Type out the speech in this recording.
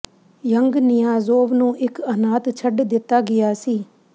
young Niyazov ਨੂੰ ਇਕ ਅਨਾਥ ਛੱਡ ਦਿੱਤਾ ਗਿਆ ਸੀ